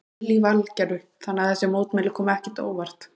Lillý Valgerður: Þannig að þessi mótmæli koma ekkert á óvart?